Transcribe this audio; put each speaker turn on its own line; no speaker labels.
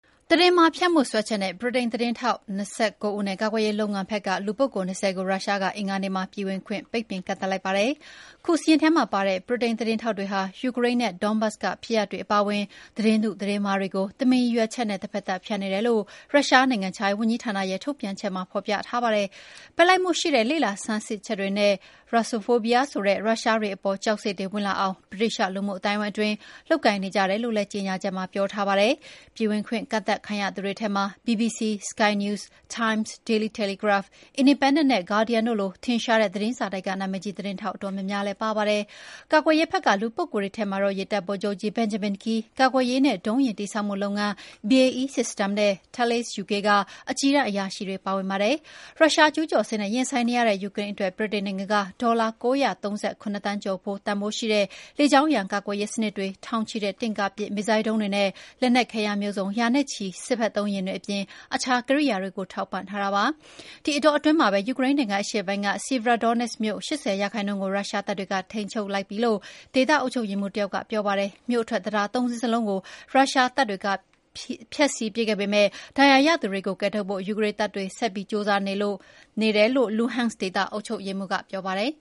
သတင်းမှားဖြန့်မှု စွဲချက်နဲ့ ဗြိတိန် သတင်းထောက် ၂၉ ဦးနဲ့ ကာကွယ်ရေးလုပ်ငန်းဖက်က လူပုဂ္ဂိုလ် ၂၀ ကိုရုရှားက အင်္ဂါနေ့မှာ ပြည်ဝင်ခွင့်ပိတ်ပင်ကန့်သတ်လိုက်ပါတယ်။ ခုစာရင်းထဲမှာပါတဲ့ ဗြိတိန်သတင်းထောက်တွေဟာ Ukraine နဲ့ Donbas ကဖြစ်ရပ်တွေ အပါအဝင် သတင်းတု သတင်းမှားတွေကို တမင်ရည်ရွယ်ချက်နဲ့ တဖက်သတ်ဖြန့်နေတယ်လို့ ရုရှား နိုင်ငံခြားရေး ဝန်ကြီးဌာနရဲ့ထုတ်ပြန်ချက်မှာ ဖော်ပြထားပါတယ်။ ဘက်လိုက်မှုရှိတဲ့ လေ့လာဆန်းစစ်ချက်တွေနဲ့ Russophobia ဆိုတဲ့ ရုရှားတွေအပေါ် ကြောက်စိတ်တွေဝင်အောင် ဗြိတိသ ျှလူမှုအသိုင်းအဝိုင်းအတွင်း လုပ်ကိုင်နေကြတယ်လို့ လည်းကြေငြာချက်မှာ ပြောထားပါတယ်။ ပြည်ဝင်ခွင့်ကန့်သတ်ခံရသူတွေထဲမှာ BBC၊ Sky News၊ Times၊ Daily Telegraph၊ Independent နဲ့ Guardian လို ထင်ရှားတဲ့သတင်းစာတိုက်က နာမည်ကြီးသတင်းထောက်အတော်များများလည်း ပါပါတယ်။ ကာကွယ်ရေးဖက်က လူပုဂ္ဂိုလ်တွေထဲမှာတော့ ရေတပ်ဗိုလ်ချုပ်ကြီး Benjamin Key၊ ကာကွယ်ရေးနဲ့ ဒုံးယာဉ်တည်ဆောက်မှုလုပ်ငန်း BAE System နဲ့ Thales UK က အကြီးတန်းအရာရှိတွေပါဝင်ပါတယ်။ ရုရှားကျူးကျော်စစ်နဲ့ရင်ဆိုင်နေရတဲ့ယူကရိန်းအတွက် ဗြိတိန်နိုင်ငံက ဒေါ်လာ ၉၃၇ သန်းကျော်တန်ဖိုးရှိတဲ့ လေကြောင်းရန်ကာကွယ်ရေးစနစ်တွေ၊ ထောင်ချီတဲ့ တင့်ကားပစ်မစ်ဇိုင်းဒုံးတွေနဲ့ လက်နက်ခဲယမ်းမျိုးစုံ၊ ရာချီတဲ့ စစ်ဖက်သုံးယာဉ်တွေအပြင် အခြားကိရိယားတွေကိုပါ ထောက်ပံ့ထားတာပါ။ ဒီအတောအတွင်းမှာပဲ ယူကရိန်းနိုင်ငံအရှေ့ပိုင်းက Sievierodonetsk မြို့ ၈၀ ရာခိုင်နှုန်းကို ရုရှားတပ်တွေ ထိန်းချုပ်မှုအောက်ရောက်သွားပြီလို့ ဒေသ အုပ်ချုပ်ရေးမှူးတယောက်ကပြောပါတယ်။ မြို့အထွက်တံတား ၃ စင်းစလုံးကို ရုရှားတပ်တွေဖျက်ဆီးပစ်ခဲ့ပေမယ့် ဒဏ်ရာရသူတွေကို ကယ်ထုတ်ဖို့ ယူကရိန်းတပ်တွေ ဆက်ပြီးကျိုးစားနေတယ်လို့ Luhansk ဒေသအုပ်ချုပ်ရေးမှူးက ပြောပါတယ်